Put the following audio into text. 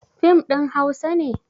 Fim ɗin hausa ne?